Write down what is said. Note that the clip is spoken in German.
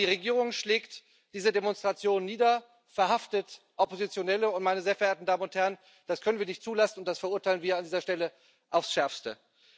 Aber die Regierung schlägt diese Demonstrationen nieder, verhaftet Oppositionelle und, meine sehr verehrten Damen und Herren, das können wir nicht zulassen und das verurteilen wir an dieser Stelle aufs Schärfste.